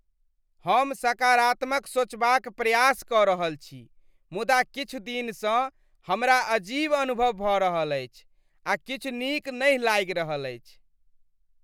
हम सकरात्मत सोचबाक प्रयास कऽ रहल छी मुदा किछु दिनसँ हमरा अजीब अनुभव भऽ रहल अछि आ किछु नीक नहि लागि रहल अछि।